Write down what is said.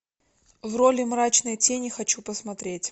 в роли мрачной тени хочу посмотреть